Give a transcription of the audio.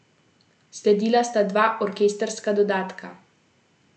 Sledila sta dva orkestrska dodatka.